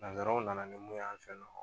Nanzsaraw nana ni mun y'an fɛ yen nɔ